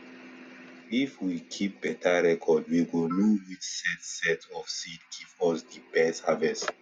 if we keep beta reocrd we go know which set set of seed give us di best harvest